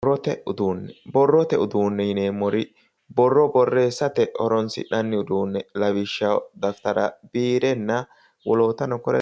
Borrote uduunne. Borrote uduunne yineemmori borro borreessate horoonsi'nanni uduunne lawishshaho daftara, biirenna wolootano kore.